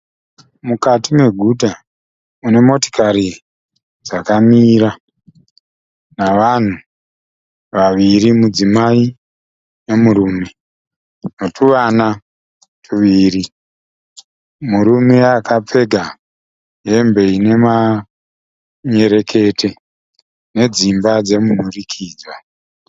Mukati meguta mune motikari dzakamira navanhu vaviri mudzimai nemurume netuvana tuviri. Murume akapfeka hembe ine manyerekete nedzimba dze munhurikidzwa.